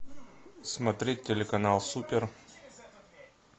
смотреть телеканал супер